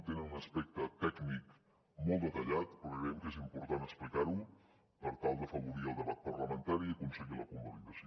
tenen un aspecte tècnic molt detallat però que creiem que és important explicar ho per tal d’afavorir el debat parlamentari i aconseguir la convalidació